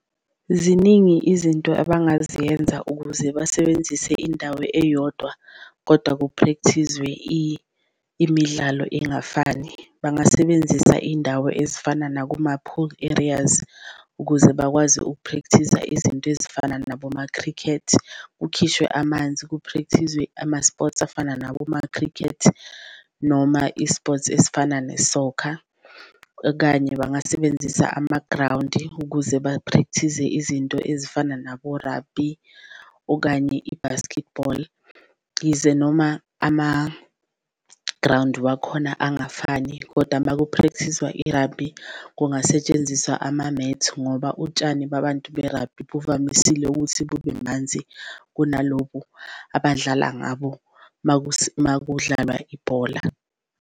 Ziningi izinto abangaziyenza ukuze basebenzise indawo eyodwa kodwa ku-practice-zwe imidlalo engafani, bangasebenzisa izindawo ezifana nakuma-pool areas ukuze bakwazi uku-practice-za izinto ezifana naboma-cricket. Kukhishwe amanzi ku-practice-zwe ama-sports afana naboma-cricket noma i-sport ezifana ne-soccer, okanye bangasebenzisa amagrawundi ukuze ba-practice-ze izinto ezifana nabo-rugby okanye i-basketball. Yize noma amagrawundi wakhona angafani kodwa uma ku-practice-zwa i-rugby kungasetshenziswa ama-mat, ngoba utshani babantu be-rugby buvamisile ukuthi bube manzi kunalobu abadlala ngabo uma kudlalwa ibhola.